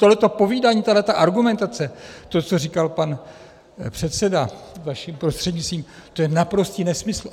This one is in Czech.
Tohleto povídání, tahleta argumentace, to, co říkal pan předseda vašim prostřednictvím, to je naprostý nesmysl.